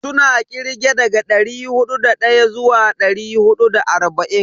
Suna kirge daga dari hudu da daya zuwa dari hudu da arba'in.